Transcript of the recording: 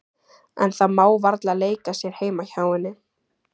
En það má varla leika sér heima hjá henni.